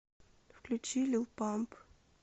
включи лил памп